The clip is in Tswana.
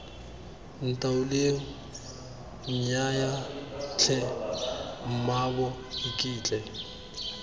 ntaoleng nnyaya tlhe mmaabo iketle